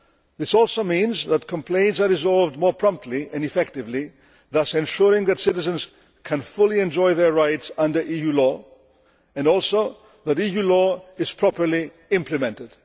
This also means that complaints are resolved more promptly and effectively, thus ensuring that citizens can fully enjoy their rights under EU law and also that EU law is properly implemented.